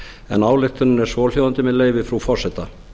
en ályktunin er svohljóðandi með leyfi frú forseta